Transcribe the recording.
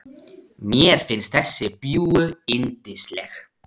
Mér finnst þessi bjúgu yndisleg.